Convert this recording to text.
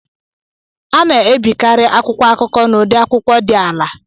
A na-ebikarị akwụkwọ akụkọ n'udi akwụkwọ dị ala